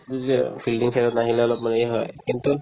বুজিলা fielding side ত নাহিলে অলপমান এই হয় কিন্তু